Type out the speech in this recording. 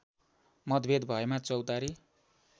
मतभेद भएमा चौतारी